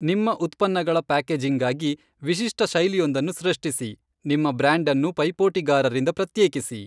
ನಿಮ್ಮ ಉತ್ಪನ್ನಗಳ ಪ್ಯಾಕೇಜಿಂಗ್ಗಾಗಿ ವಿಶಿಷ್ಟ ಶೈಲಿಯೊಂದನ್ನು ಸೃಷ್ಟಿಸಿ, ನಿಮ್ಮ ಬ್ರ್ಯಾಂಡ್ಅನ್ನು ಪೈಪೋಟಿಗಾರರಿಂದ ಪ್ರತ್ಯೇಕಿಸಿ.